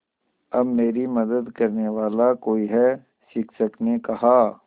अब मेरी मदद करने वाला कोई है शिक्षक ने कहा